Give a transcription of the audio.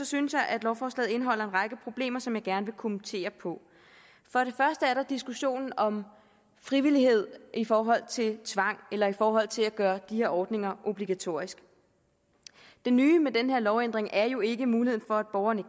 synes jeg at lovforslaget indeholder en række problemer som jeg gerne vil kommentere for det første er der diskussionen om frivillighed i forhold til tvang eller i forhold til at gøre de her ordninger obligatoriske det nye med den her lovændring er jo ikke muligheden for at borgerne